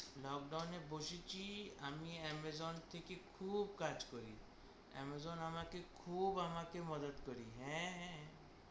Lockdown এ বসেছি আমি Amazon থেকে খুব কাজ করি। Amazon আমাকে খুব আমাকে মাদাত করি, হ্যাঁ হ্যাঁ।